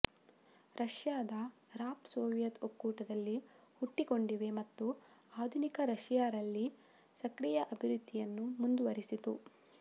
ರಷ್ಯಾದ rap Soviet ಒಕ್ಕೂಟದಲ್ಲಿ ಹುಟ್ಟಿಕೊಂಡಿವೆ ಮತ್ತು ಆಧುನಿಕ ರಶಿಯಾ ರಲ್ಲಿ ಸಕ್ರಿಯ ಅಭಿವೃದ್ಧಿಯನ್ನು ಮುಂದುವರಿಸಿತು